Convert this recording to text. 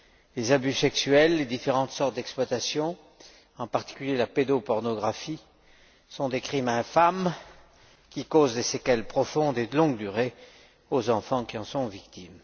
Les abus sexuels, les différentes sortes d'exploitation, en particulier la pédopornographie, sont des crimes infâmes qui causent des séquelles profondes et de longue durée aux enfants qui en sont victimes.